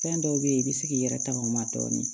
Fɛn dɔw be yen i bi se k'i yɛrɛ taŋ'o ma dɔɔnin